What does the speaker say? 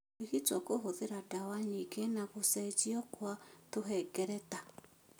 Kũrigitwo kũhũthĩra ndawa nyingĩ na gũcenjio kwa tũhengereta.